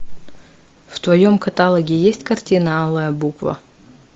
в твоем каталоге есть картина алая буква